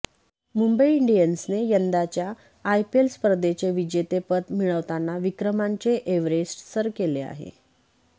मुंबई इंडियन्सने यंदाच्या आयपीएल स्पर्धेचे विजेतेपद मिळवताना विक्रमांचे एव्हरेस्ट सर केले आहे